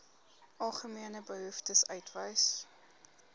algemene behoeftes uitwys